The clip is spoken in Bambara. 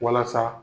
Walasa